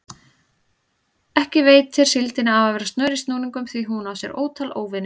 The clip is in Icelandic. Ekki veitir síldinni af að vera snör í snúningum því hún á sér ótal óvini.